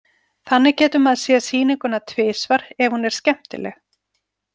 Þannig getur maður séð sýninguna tvisvar ef hún er skemmtileg.